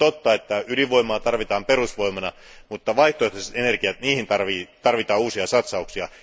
On totta, että ydinvoimaa tarvitaan perusvoimana, mutta vaihtoehtoisiin energioihin tarvitaan uusia satsauksia.